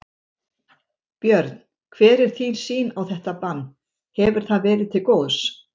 Björn: Hver er þín sýn á þetta bann, hefur það verið til góðs?